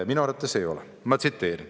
Minu arvates ei ole.